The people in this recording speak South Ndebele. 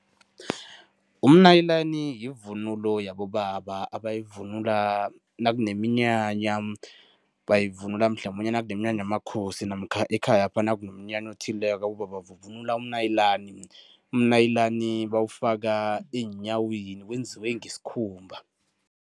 Umnayilani yivunulo yabobaba abayivunula nakuneminyanya. Bayivunula mhlamunye nakuneminyanya yamakhosi namkha ekhayapha nakunomnyanya othileko, abobaba bavunula umnayilani. Umnayilani bawufaka eenyaweni, wenziwe ngesikhumba.